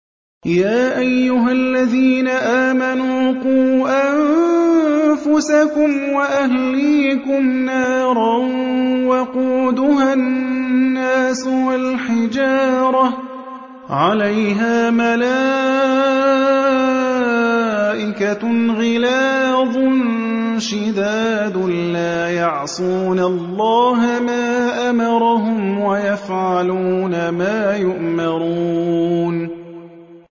يَا أَيُّهَا الَّذِينَ آمَنُوا قُوا أَنفُسَكُمْ وَأَهْلِيكُمْ نَارًا وَقُودُهَا النَّاسُ وَالْحِجَارَةُ عَلَيْهَا مَلَائِكَةٌ غِلَاظٌ شِدَادٌ لَّا يَعْصُونَ اللَّهَ مَا أَمَرَهُمْ وَيَفْعَلُونَ مَا يُؤْمَرُونَ